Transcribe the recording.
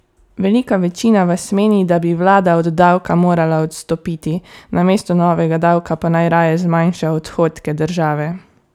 Velika večina vas meni, da bi vlada od davka morala odstopiti, namesto novega davka pa naj raje zmanjša odhodke države.